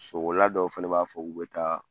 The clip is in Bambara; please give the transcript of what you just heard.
So kola dɔw fɛnɛ b'a fɔ, u bɛ taa